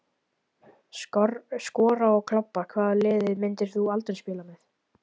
Skora og klobba Hvaða liði myndir þú aldrei spila með?